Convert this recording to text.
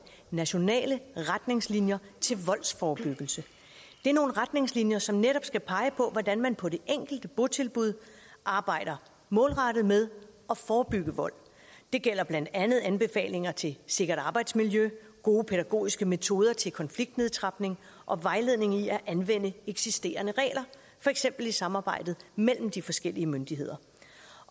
nationale retningslinjer til voldsforebyggelse det er nogle retningslinjer som netop skal pege på hvordan man på det enkelte botilbud arbejder målrettet med at forebygge vold det gælder blandt andet anbefalinger til sikkert arbejdsmiljø gode pædagogiske metoder til konfliktnedtrapning og vejledning i at anvende eksisterende regler for eksempel i samarbejdet mellem de forskellige myndigheder